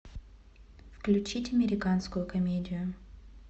включить американскую комедию